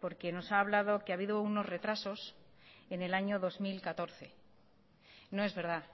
porque nos ha hablado que ha habido unos retrasos en el año dos mil catorce no es verdad